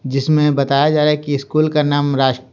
जिसमें बताया जा रहा है कि स्कूल का नाम राष्ट्र--